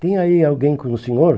Tem aí alguém com o senhor?